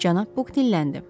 Cənab Buk dilləndi.